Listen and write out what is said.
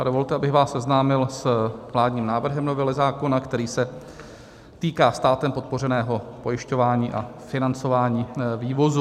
A dovolte, abych vás seznámil s vládním návrhem novely zákona, který se týká státem podpořeného pojišťování a financování vývozu.